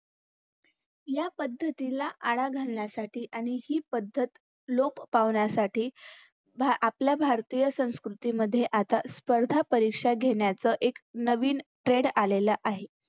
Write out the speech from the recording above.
या पद्धतीला आळा घालण्यासाठी आणि ही पद्धत लोप पावण्यासाठी आपल्या भारतीय संस्कृतीमध्ये आता स्पर्धा परीक्षा घेण्याचं एक नवीन TRADE आलेल आहे